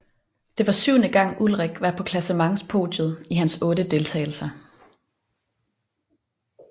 Det var syvende gang Ullrich var på klassementspodiet i hans otte deltagelser